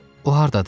O hardadır?